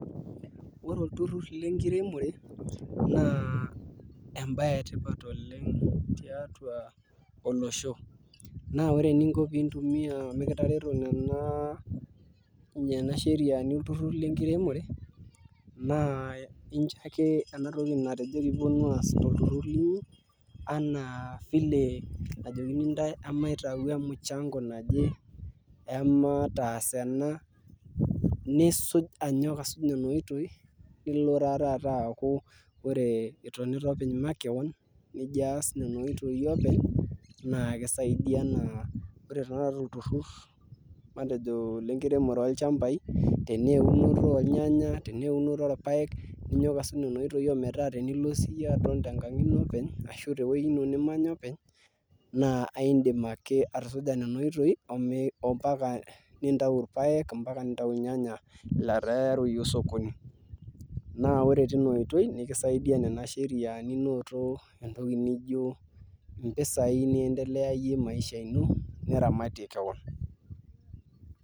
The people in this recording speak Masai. Ore ilturrur lenkiremore naa embaye etipat oleng tiatua olosho naa ore eninko pintumìa mikitareto nena sheriani olturruri naa incho ake ena toki nengas ilturruri linyi vile najokini ntae maitau emuchango naje emataas ena nisuj anyok asuj nena oitoi Ore itonita openy makeon nijo aas nena oitoi openy naa kisaidia enaa olturrur matejo lenkiremore olchambai tenaa eunoto olnyanya tenaa eunoto orpaek ninyok asuj nena oitoi nilo siyie aton tenkang' ino openy ashu tewuoi ino openy naa aidim ake atusuja nena oitoi ompaka nintau irpaek ompaka nintau ilnyanya letaa eyayu osokoni naa ore tina oitoi nikisaidia nena sheriani neeku entoki nijo mpisai n